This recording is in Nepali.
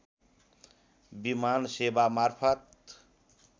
विमान सेवा मार्फत